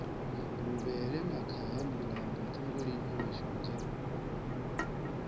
luvhele makhaha murambo ṱhungulifha mashonzha